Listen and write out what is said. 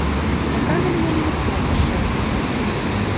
пока на меня не наткнулся шеф